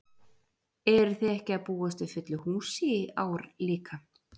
Eruð þið ekki að búast við fullu húsi í ár líka?